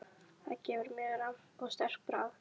Það gefur mjög rammt og sterkt bragð.